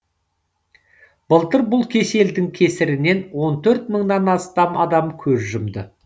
былтыр бұл кеселдің кесірінен он төрт мыңнан астам адам көз жұмды